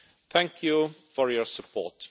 Thank you for your support.